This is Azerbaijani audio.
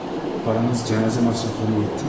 Paranız cənazə məsrəflərinə yetdimi?